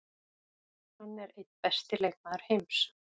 Hann er einn besti leikmaður heims.